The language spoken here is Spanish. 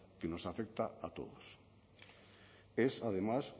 que nos afecta a todos es además